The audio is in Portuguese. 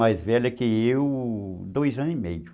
Mais velha que eu, dois anos e meio.